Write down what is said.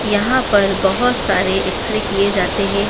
यहाँ पर बहोत सारे एक्स रे किए जाते हैं।